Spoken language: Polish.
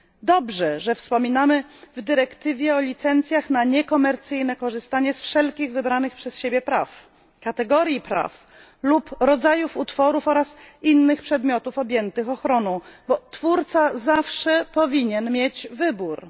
Dobrze, że wspominamy w dyrektywie o licencjach na niekomercyjne korzystanie z wszelkich wybranych przez siebie praw, kategorii praw lub rodzajów utworów oraz innych przedmiotów objętych ochroną, bo twórca zawsze powinien mieć wybór.